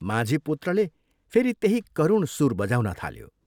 माझी पुत्रले फेरि त्यही करुण सुर बजाउन थाल्यो।